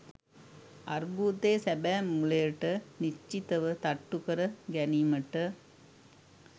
අර්බුදයේ සැබෑ මූලයට නිශ්චිත ව තට්ටු කර ගැනීමට